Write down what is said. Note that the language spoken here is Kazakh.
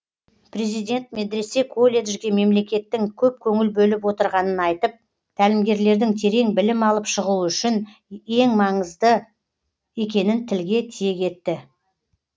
президент медресе колледжге мемлекеттің көп көңіл бөліп отырғанын айтып тәлімгерлердің терең білім алып шығуы ел үшін маңызды екенін тілге тиек етті